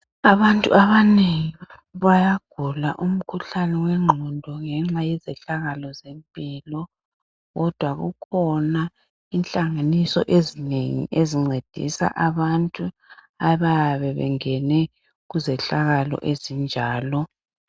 Abantu abanengi bayagula umkhuhlane wengqondo ngenxa yezehlakalo zempilo, kodwa kukhona inhlanganiso ezinengi ezincedisa abantu abayabe bengene kuzehlakalo ezinjalo.